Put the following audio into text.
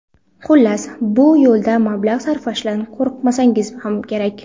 Xullas, bu yo‘lda mablag‘ sarflashdan qo‘rqmasligimiz kerak.